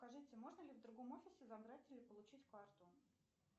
скажите можно ли в другом офисе забрать или получить карту